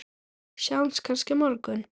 Sjáumst kannski á morgun!